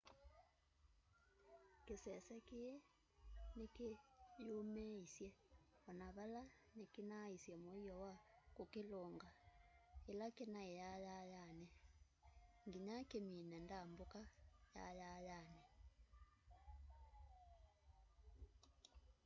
kisese kii nikiyumiisye ona vala nikinaisye muio wa kukilungalya ila kinai yayayani nginya kimine ndambuka yayayani